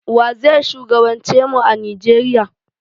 Waze shugaban ce mu a Nijeriya?